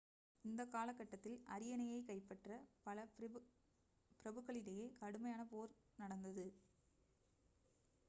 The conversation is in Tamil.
இந்தக் காலகட்டத்தில் அரியணையைக் கைப்பற்ற பல பிரபுக்களிடையே கடுமையான போர் நடந்தது